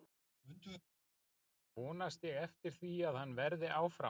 Vonast ég eftir því að hann verði áfram?